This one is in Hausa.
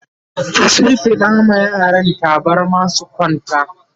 ta shimfiɗa wa yaran tabarma su kwanta